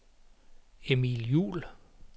Emil Juul